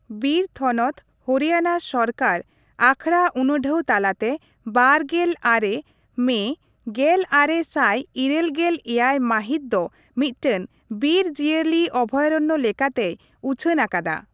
ᱵᱤᱨ ᱛᱷᱚᱱᱚᱛ, ᱦᱚᱨᱤᱭᱟᱱᱟ ᱥᱚᱨᱠᱟᱨ, ᱟᱠᱷᱲᱟ ᱩᱱᱩᱰᱷᱟᱹᱣ ᱛᱟᱞᱟᱛᱮ ᱵᱟᱨᱜᱮᱞ ᱟᱨᱮ ᱢᱮ ᱜᱮᱞ ᱟᱨᱮ ᱥᱟᱭ ᱤᱨᱟᱹᱞ ᱜᱮᱞ ᱮᱭᱟᱭ ᱢᱟᱹᱦᱤᱛ ᱫᱚ ᱢᱤᱫᱴᱟᱝ ᱵᱤᱨ ᱡᱤᱭᱟᱹᱞᱤ ᱚᱵᱷᱚᱭᱟᱨᱚᱱᱱᱚ ᱞᱮᱠᱟᱛᱮᱭ ᱩᱪᱷᱟᱹᱱ ᱟᱠᱟᱫᱟ ᱾